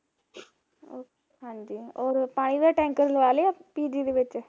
ਹਾਂਜੀ ਓਰ ਪਾਣੀ ਦਾ ਟੈਂਕਰ ਲਵਾਲਿਆ pg ਦੇ ਵਿੱਚ